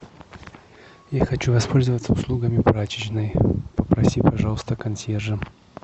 я хочу воспользоваться услугами прачечной попроси пожалуйста консьержа